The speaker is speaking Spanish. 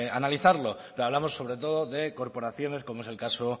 analizarlo hablamos sobre todo de corporaciones como es el caso